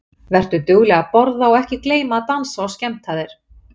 Vertu dugleg að borða og ekki gleyma að dansa og skemmta þér.